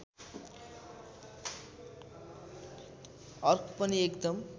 अर्क पनि एकदम